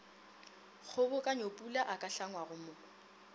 kgobokanyopula a ka hlangwago mo